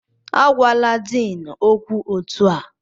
Agwala Din okwu otu a!